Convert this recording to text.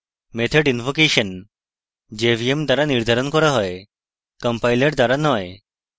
method invocation jvm দ্বারা নির্ধারণ করা হয় compiler দ্বারা নয়